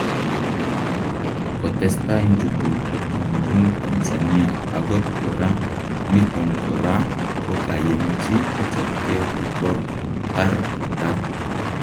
Kotestai nchukuk kotumdum Tanzania akot koraa, niton koraa kokayemchi kochapkee kotor tar kotar